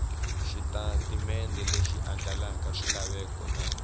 xitatimende lexi andlalaka swilaveko na